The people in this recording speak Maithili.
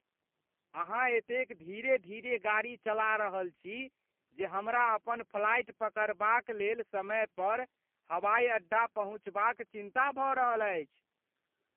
अहाँ एतेक धीरे धीरे गाड़ी चला रहल छी जे हमरा अपन फ्लाइट पकड़बाक लेल समय पर हवाइ अड्डा पहुँचबाक चिन्ता भऽ रहल अछि।